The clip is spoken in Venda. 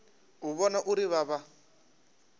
u vhona uri vha vha